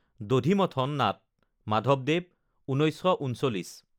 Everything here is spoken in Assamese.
দধি মথন নাট মাধৱদেৱ, ১৯৩৯